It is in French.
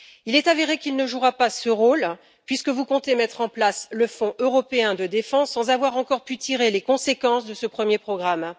Il est avéré qu'il ne jouera pas ce rôle puisque vous comptez mettre en place le Fonds européen de défense, sans avoir encore pu tirer les conséquences de ce premier programme.